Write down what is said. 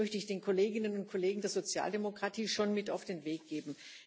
Das möchte ich den Kolleginnen und Kollegen der Sozialdemokratie schon mit auf den Weg geben.